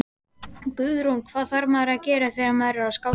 Guðrún: Hvað þarf maður að gera þegar maður er skáti?